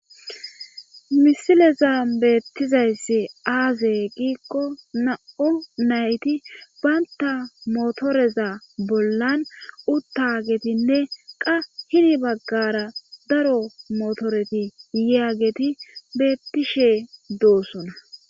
Misileza beettizayssi aaze giikko na'u nayti baynta motoreza bollan uttagetinne qa hini baggara daro motoreti yiya geti beettishe doosona.